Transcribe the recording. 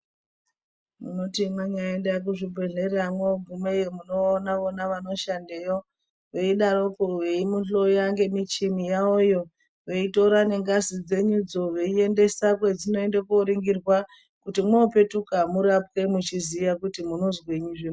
Munoti mwanyaenda kuzvibhedhlera mwoogumeyo munoona-ona vanoshandeyo, veidaroko veimuhloya ngemichini yavoyo, veitora nengazi dzenyudzo veiendesa kwedzinoende kooringirwa, kuti mwoopetuka murapwe muchiziya kuti munozwenyi zvemene.